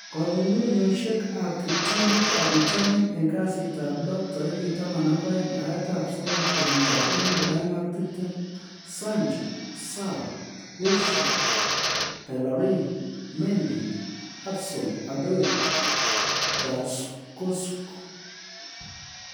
Kong'ung'unyoshek ab kiptulit ab bitonin en kasitab lo 12/09/2020:Sancho, Sarr, Wilshere, Bellerin, Mendy, Hudson-Odoi, Tarkowski